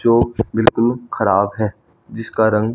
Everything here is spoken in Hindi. जो बिल्कुल खराब है जिसका रंग--